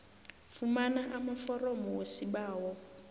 fumana amaforomo wesibawo